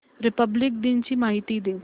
Republic दिन ची माहिती दे